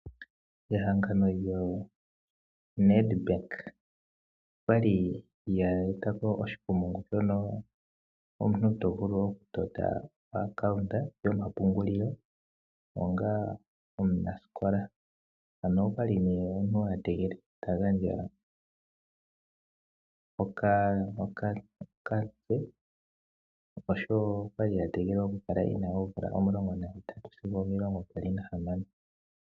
Ehangano lyoNedbank olya li lye eta po oshikumungu shono omuntu to vulu okutota omayululo gombaanga, onga omunasikola. Omuntu okwa li a tegelelwa a gandje okamutse noshowo okwa li a tegelelwa a kale e na oomvula omulongo nahetatu sigo omilongo mbali nahamano.